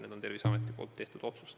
See oli Terviseameti tehtud otsus.